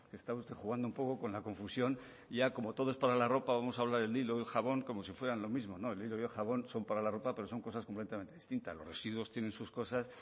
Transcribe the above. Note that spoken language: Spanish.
está usted jugando un poco con la confusión y ya como todo es para la ropa vamos a hablar del hijo y jabón como si fueran lo mismo no el hilo y el jabón son para la ropa pero son cosas completamente distintas los residuos tienen sus cosas